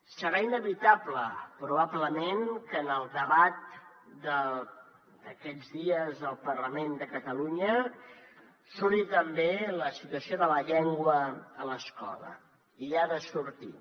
serà inevitable probablement que en el debat d’aquests dies al parlament de catalunya surti també la situació de la llengua a l’escola hi ha de sortir